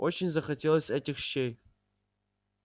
очень захотелось этих щей